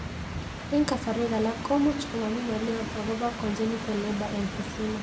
Eng' kasarwek alak ko much komami ng'lyo akopo congenital labour emphysema